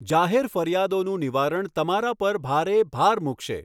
જાહેર ફરિયાદોનું નિવારણ તમારા પર ભારે ભાર મૂકશે.